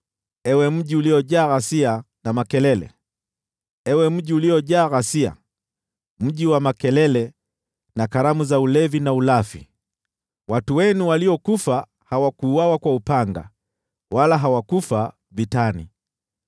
Ewe mji uliojaa ghasia, ewe mji wa makelele na sherehe! Watu wenu waliokufa hawakuuawa kwa upanga, wala hawakufa vitani.